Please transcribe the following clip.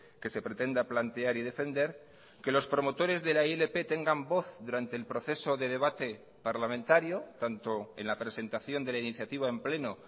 que se pretenda plantear y defender que los promotores de la ilp tengan voz durante el proceso de debate parlamentario tanto en la presentación de la iniciativa en pleno